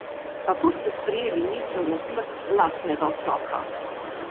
Kako ste sprejeli misel na smrt lastnega otroka?